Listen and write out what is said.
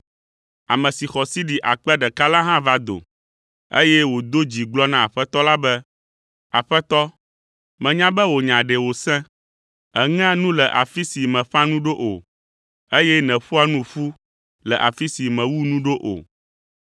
“Ame si xɔ sidi akpe ɖeka la hã va do, eye wòdo dzi gblɔ na Aƒetɔ la be, ‘Aƒetɔ, menya be wò nya ɖe wòsẽ; eŋea nu le afi si mèƒã nu ɖo o, eye nèƒoa nu ƒu le afi si mewu nu ɖo o,